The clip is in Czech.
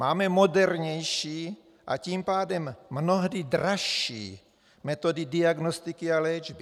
Máme modernější, a tím pádem mnohdy dražší metody diagnostiky a léčby.